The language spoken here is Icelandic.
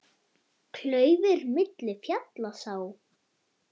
Klaufir milli fjalla sá.